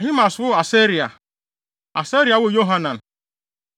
Ahimaas woo Asaria. Asaria woo Yohanan.